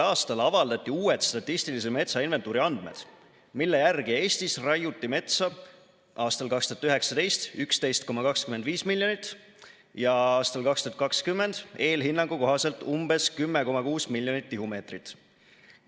a avaldati uued statistilise metsainventuuri andmed, mille järgi Eestis raiuti metsa aastal 2019 11,25 miljonit ja aastal 2020 eelhinnangu kohaselt umbes 10,6 miljonit tihumeetrit.